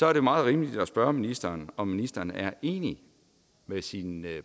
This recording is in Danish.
er det meget rimeligt at spørge ministeren om ministeren er enig med sin